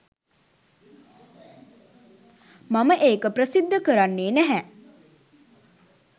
මම ඒක ප්‍රසිද්ධ කරන්නේ නැහැ.